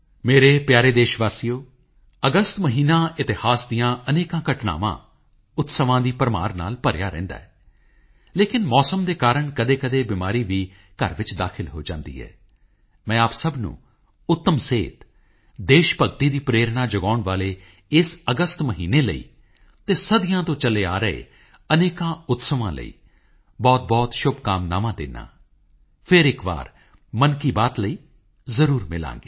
ਮੇਰੇ ਪਿਆਰੇ ਦੇਸ਼ਵਾਸੀਓ 30 ਜਨਵਰੀ ਪੂਜਨੀਕ ਬਾਪੂ ਦੀ ਬਰਸੀ ਹੈ 11 ਵਜੇ ਪੂਰਾ ਦੇਸ਼ ਸ਼ਹੀਦਾਂ ਨੂੰ ਸ਼ਰਧਾਂਜਲੀ ਦਿੰਦਾ ਹੈ ਅਸੀਂ ਵੀ ਜਿੱਥੇ ਹੋਈਏ ਦੋ ਮਿਨਟ ਸ਼ਹੀਦਾਂ ਨੂੰ ਸ਼ਰਧਾਂਜਲੀ ਜ਼ਰੂਰ ਦੇਈਏ ਪੂਜਨੀਕ ਬਾਪੂ ਨੂੰ ਯਾਦ ਕਰੀਏ ਅਤੇ ਪੂਜਨੀਕ ਬਾਪੂ ਦੇ ਸੁਪਨਿਆਂ ਨੂੰ ਸਾਕਾਰ ਕਰਨਾ ਨਵੇਂ ਭਾਰਤ ਦਾ ਨਿਰਮਾਣ ਕਰਨਾ ਨਾਗਰਿਕ ਹੋਣ ਦੇ ਨਾਤੇ ਆਪਣੇ ਫ਼ਰਜ਼ ਨਿਭਾਉਣੇ ਇਸ ਸੰਕਲਪ ਨਾਲ ਆਓ ਅਸੀਂ ਅੱਗੇ ਵਧੀਏ 2019 ਦੀ ਇਸ ਯਾਤਰਾ ਨੂੰ ਸਫਲਤਾ ਨਾਲ ਅੱਗੇ ਵਧਾਈਏ ਮੇਰੀਆਂ ਤੁਹਾਨੂੰ ਸਾਰਿਆਂ ਨੂੰ ਬਹੁਤਬਹੁਤ ਸ਼ੁਭ ਕਾਮਨਾਵਾਂ